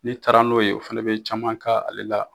Ni taara n'o ye o fana bɛ caman k'ale la.